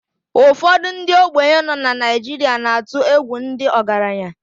Ụfọdụ ndị ogbenye nọ na Naijiria na-atụ egwu ndị ọgaranya